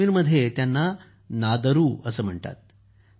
काश्मीरमध्ये त्यांना नादरू म्हणतात